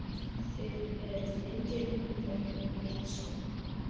Þið eruð engir unglingar lengur sagði hann.